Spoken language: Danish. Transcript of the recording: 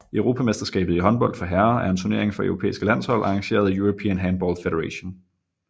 Europamesterskabet i håndbold for herrer er en turnering for europæiske landshold arrangeret af European Handball Federation